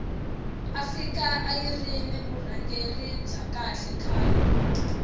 afika ayiri ni vurhangeri bya kahle khale